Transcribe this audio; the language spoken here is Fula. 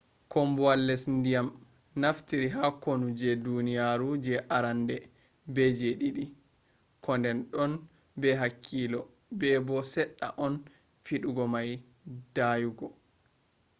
combowol les ndiyam nafitiri ha kunu je duniyaru je arande be je didi. koden don be hakkilo be bo sedda on fidugo mai dayugo